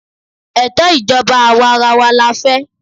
Ètò ìjọba àwarawa la fẹ́.